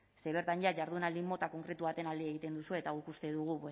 ze bertan jada jardunaldi mota konkretu baten alde egiten duzue eta guk uste dugu